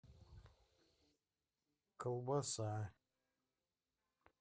колбаса